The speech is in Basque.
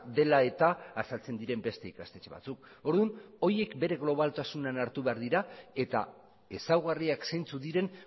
dela eta azaltzen diren beste ikastetxe batzuk orduan horiek bere globaltasunean hartu behar dira eta ezaugarriak zeintzuk diren